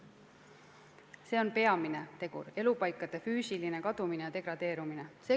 See on peamine tegur: elupaikade füüsiline kadumine ja degradeerumine.